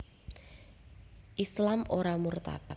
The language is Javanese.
Islam ora murtad